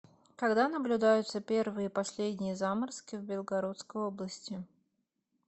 когда наблюдаются первые и последние заморозки в белгородской области